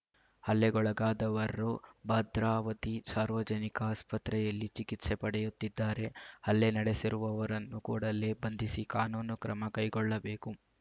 ಹಲ್ಲೆಗೊಳಗಾದವರು ಭದ್ರಾವತಿ ಸಾರ್ವಜನಿಕ ಆಸ್ಪತ್ರೆಯಲ್ಲಿ ಚಿಕಿತ್ಸೆ ಪಡೆಯುತ್ತಿದ್ದಾರೆ ಹಲ್ಲೆ ನಡೆಸಿರುವವರನ್ನು ಕೂಡಲೇ ಬಂಧಿಸಿ ಕಾನೂನು ಕ್ರಮ ಕೈಗೊಳ್ಳಬೇಕು